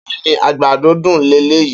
Beeni agbado dun leleyi.